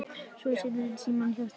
Svo sest Símon hjá þeim